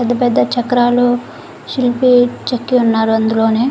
పెద్ద పెద్ద చక్రాలు శిల్పి చెక్కి ఉన్నారు అందులోనే.